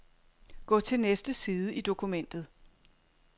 Gå til næste side i dokumentet.